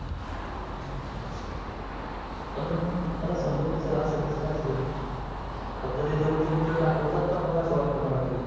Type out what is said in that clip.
पण मला समजत नाही sir अस कस का झाल फक्त ते जवडचे मित्र दखवतात का मग? अस वाटत मला कधी कधी